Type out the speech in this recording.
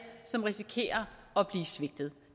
som risikerer at blive svigtet